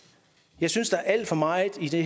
jeg synes der er alt for meget i de